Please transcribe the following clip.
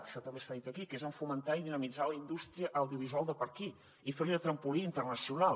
això també s’ha dit aquí que és fomentar i dinamitzar la indústria audiovisual de per aquí i fer li de trampolí internacional